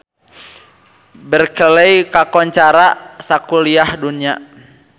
Berkeley kakoncara sakuliah dunya